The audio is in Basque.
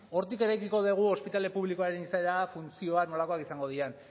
hortik eraikiko dugu ospitale publikoaren izaera funtzioak nolakoak izango diren